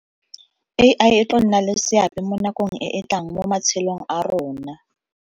A_I e tlo nna le seabe mo nakong e e tlang mo matshelong a rona.